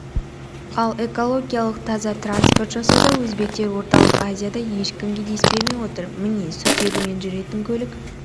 ал экологиялық таза транспорт жасауда өзбектер орталық азияда ешкімге дес бермей отыр міне сутегімен жүретін көлік